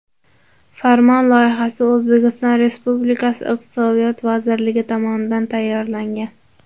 Farmon loyihasi O‘zbekiston Respublikasi Iqtisodiyot vazirligi tomonidan tayyorlangan.